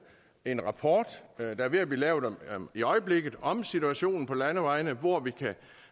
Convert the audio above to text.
en rapport der er ved at blive lavet i øjeblikket om situationen på landevejene hvor vi